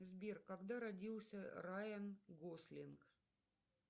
сбер когда родился райан гослинг